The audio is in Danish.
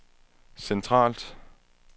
centralt